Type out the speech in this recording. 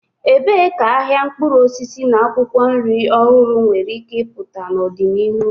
Ebee ka ahịa mkpụrụ osisi na akwụkwọ nri ọhụrụ nwere ike ịpụta n'ọdịnihu?